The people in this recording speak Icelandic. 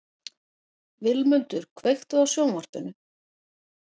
Vilmundur, kveiktu á sjónvarpinu.